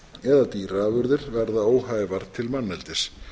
eða dýraafurðir verða óhæfar til manneldis